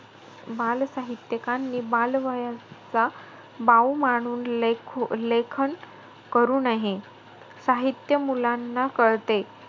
बालसाहित्यकांनी बाल वयचा बाऊ मानून लेखू~ लेखन करू नये. साहित्य मुलांना कळते.